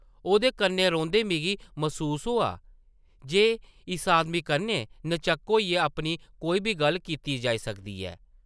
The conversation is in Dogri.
औह्दे कन्नै रौंह्दे मिगी मसूस होआ जे इस आदमी कन्नै न-झक्क होइयै अपनी कोई बी गल्ल कीती जाई सकदी ऐ ।